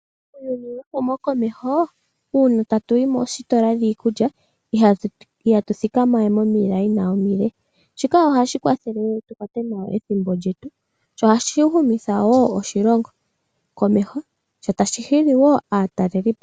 Muuyuni wehumokomeho uuna tatu yi moositola dhiikulya ihatu thikamawe momikweyo omile shika ohashi kwathele tu kwate nawa ethimbo lyetu sho ohashi humitha wo oshilongo komeho sho tashi hili wo aatalelipo.